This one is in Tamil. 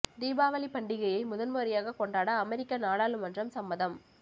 தீபாவளி பண்டிகையை முதன்முறையாக கொண்டாட அமெரிக்க நாடாளுமன்றம் சம்மதம்